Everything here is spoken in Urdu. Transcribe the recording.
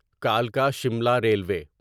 کلکا شملا ریلوی